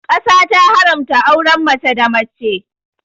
Ƙasa ta ta haramta auren mace da mace